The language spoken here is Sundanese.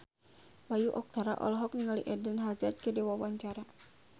Bayu Octara olohok ningali Eden Hazard keur diwawancara